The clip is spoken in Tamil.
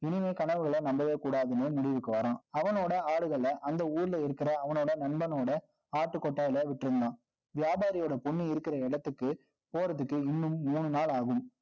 இனிமே கனவுகளை நம்பவே கூடாதுன்னு, முடிவுக்கு வர்றான். அவனோட ஆறுகளை, அந்த ஊர்ல இருக்கிற, அவனோட நண்பனோட, ஆட்டு கொட்டாயில விட்டிருந்தான். வியாபாரியோட பொண்ணு இருக்கிற இடத்துக்கு, போறதுக்கு இன்னும் மூணு நாள் ஆகும்